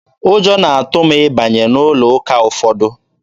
Ụjọ na-atụ m ịbanye n'ụlọ ụka ụfọdụ.